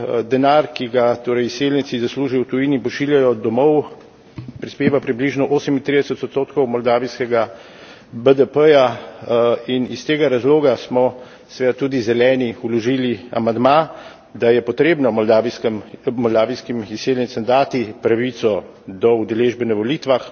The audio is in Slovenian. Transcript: Denar, ki ga torej izseljenci zaslužijo v tujini in pošiljajo domov, prispeva približno 38 odstotkov moldavijskega BDP in iz tega razloga smo seveda tudi Zeleni vložili amandma, da je potrebno moldavijskim izseljencem dati pravico do udeležbe na volitvah,